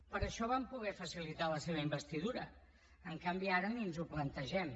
per això vam poder facilitar la seva investidura en canvi ara ni ens ho plantegem